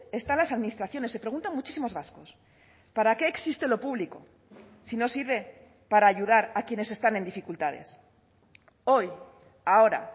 están las administraciones se preguntan muchísimos vascos para qué existe lo público si no sirve para ayudar a quienes están en dificultades hoy ahora